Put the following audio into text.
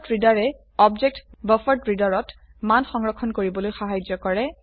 BufferedReaderৰে object buffered reader ত মান সংৰক্ষণ কৰিবলৈ সাহায্য কৰে